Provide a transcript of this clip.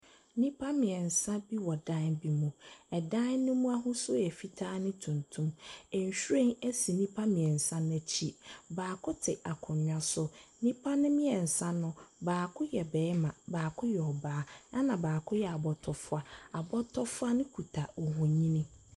Nipa mmiensa bi wɔ dan bi mu. Ɛdan ne mu ahosuo yɛ fitaa ne tuntum. Enhweren asi nipa mmiensa n'akyi. Baako te akonnwa so. Nipa ne mmiensa no baako yɛ bɛɛma, baako yɛ ɔbaa ɛna baako yɛ abɔtɔfoa. Abɔtɔfoa no kuta ohunyini.